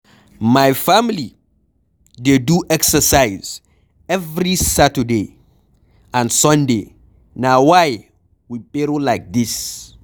My family dey do exercise every Saturday and Sunday Na why we pero like dis